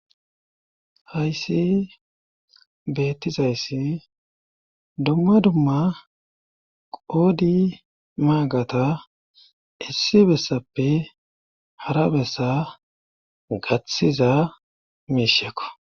Hayssi beettizayssi dumma dumma qoodi maagata issi bessappe hara bessa gaththiza miishekko.